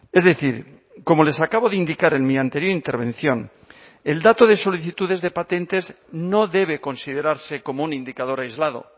es decir como les acabo de indicar en mi anterior intervención el dato de solicitudes de patentes no debe considerarse como un indicador aislado